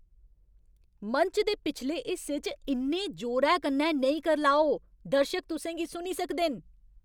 मंच दे पिछले हिस्से च इन्ने जोरै कन्नै नेईं करलाओ। दर्शक तुसें गी सुनी सकदे न।